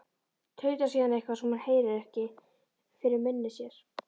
Tautar síðan eitthvað, sem hún heyrir ekki, fyrir munni sér.